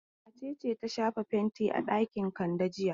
Wace ce ta shafa fenti a ɗakin Kande jiya?